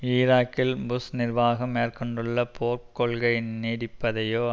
ஈராக்கில் புஷ் நிர்வாகம் மேற்கொண்டுள்ள போர்க் கொள்கை நீடிப்பதையோ